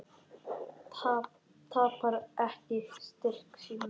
Tapar ekki styrk sínum.